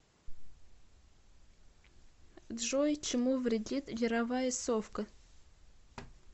джой чему вредит яровая совка